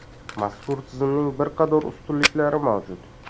Mazkur tizimning bir qator ustunliklari mavjud.